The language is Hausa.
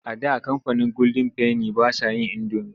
A da kamfanin golden penny ba sa yin indomi.